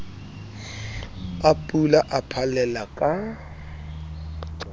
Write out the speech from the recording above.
a pula a phallella ka